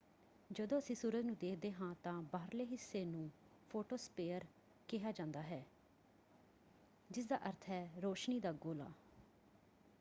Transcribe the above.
ਜਦੋਂ ਅਸੀਂ ਸੂਰਜ ਨੂੰ ਦੇਖਦੇ ਹਾਂ ਤਾਂ ਬਾਹਰਲੇ ਹਿੱਸੇ ਨੂੰ ਫ਼ੋਟੋਸਪੇਅਰ ਕਿਹਾ ਜਾਂਦਾ ਹੈ ਜਿਸਦਾ ਅਰਥ ਹੈ ਰੋਸ਼ਨੀ ਦਾ ਗੋਲਾ